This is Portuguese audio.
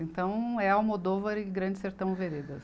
Então é Almodóvar e Grande Sertão Veredas.